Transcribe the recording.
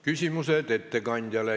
Küsimused ettekandjale.